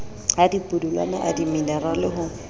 a dipudulwana a dimenerale ho